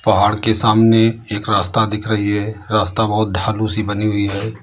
पहाड़ के सामने एक रास्ता दिख रही है रास्ता बहुत ढालू सी बनी हुई है।